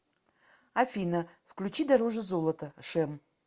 афина включи дороже золота шэм